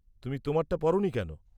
তুমি তোমারটা পরনি কেন?